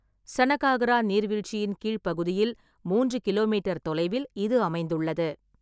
சனகாகரா நீர்வீழ்ச்சியின் கீழ்ப் பகுதியில் மூன்று கிலோமீட்டர் தொலைவில் இது அமைந்துள்ளது.